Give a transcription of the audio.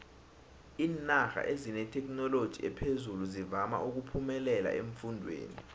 iinarha ezinethekhinoloji ephezulu zivama uphemelela eemfundeni